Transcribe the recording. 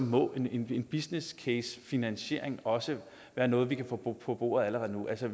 må en en businesscasefinansiering også være noget vi kan få på bordet allerede nu altså